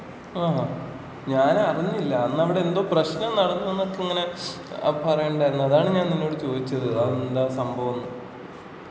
ആണോ.ഞാൻ അറിഞ്ഞില്ല. അന്ന് അവിടെ എന്തോ പ്രശ്നം നടന്നു എന്നൊക്കെ ഇങ്ങനെ പറയണ്ടായിരുന്നു. അതാണ് ഞാൻ നിന്നോട് ചോദിച്ചത് അത് എന്താ സംഭവം ന്ന്.